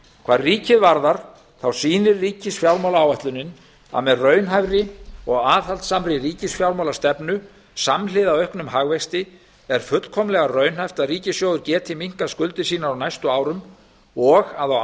hvað ríkið varðar sýnir ríkisfjármálaáætlunin að með raunhæfri og aðhaldssamri ríkisfjármálastefnu samhliða auknum hagvexti er fullkomlega raunhæft að ríkissjóður geti minnkað skuldir sínar á næstu árum og að á